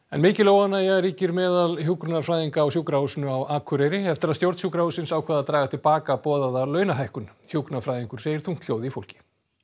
mikil óánægja ríkir meðal hjúkrunarfræðinga á Sjúkrahúsinu á Akureyri eftir að stjórn sjúkrahússins ákvað að draga til baka boðaða launahækkun hjúkrunarfræðingur segir þungt hljóð í fólki